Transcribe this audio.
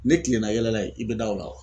Ne kilenna yɛlɛla yen i bɛ da o la